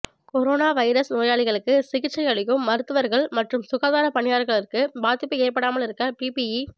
corona virus நோயாளிகளுக்கு சிகிச்சை அளிக்கும் மருத்துவர்கள் மற்றும் சுகாதார பணியாளர்களுக்கு பாதிப்பு ஏற்படாமல் இருக்க பிபிஇ